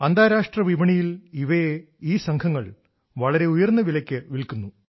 അന്താരാഷ്ട്ര വിപണിയിൽ ഇവയെ ഈ സംഘങ്ങൾ വളരെ ഉയർന്ന വിലയ്ക്ക് വിൽക്കുന്നു